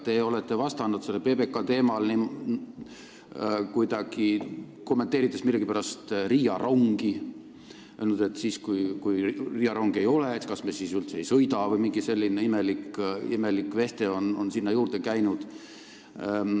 Te olete PBK teemal vastates millegipärast kommenteerinud Riia rongi, öelnud, et kui Riia rongi ei ole, kas me siis üldse ei sõida – mingi selline imelik veste on sinna juurde käinud.